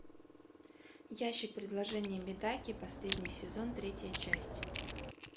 ящик предложений медаки последний сезон третья часть